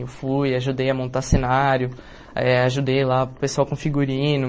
Eu fui, ajudei a montar cenário, eh ajudei lá o pessoal com figurino.